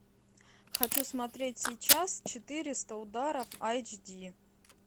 хочу смотреть сейчас четыреста ударов айч ди